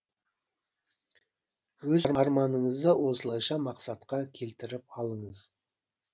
өз арманыңызды осылайша мақсатқа келтіріп алыңыз